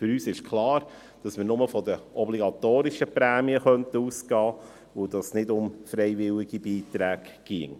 Für uns ist es klar, dass wir nur von den obligatorischen Prämien ausgehen würden, und dass es nicht um freiwillige Beiträge ginge.